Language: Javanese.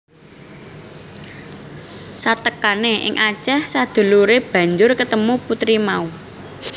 Satekané ing Aceh saduluré banjur ketemu puteri mau